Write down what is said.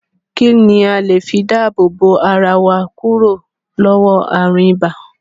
Kín ni a le fi dáàbò bo ara wa kúrò lọ́wọ́ ààrùn ibà?